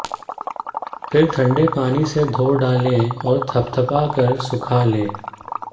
फिर ठंडे पानी से धो डालें और थपथपाकर सुखा लें